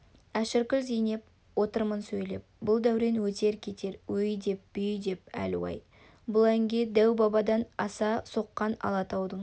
әшіркүл зейнеп отырмын сөйлеп бұл дәурен өтер-кетер өй-деп бүй-деп әлу-ай бұл әнге дәу-бабадан аса соққан алатаудың